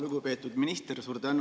Lugupeetud minister!